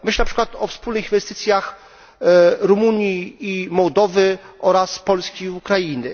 Myślę, na przykład, o wspólnych inwestycjach Rumunii i Mołdawii oraz Polski i Ukrainy.